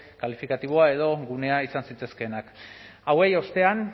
kalifikatiboa edo gunea izan zitezkeenak hauei ostean